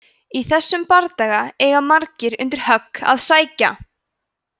í þessum bardaga eiga margir undir högg að sækja!